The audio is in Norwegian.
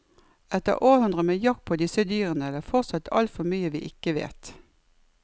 Etter århundrer med jakt på disse dyrene er det fortsatt altfor mye vi ikke vet.